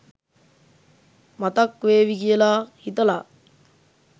මතක් වේවි කියලා හිතලා.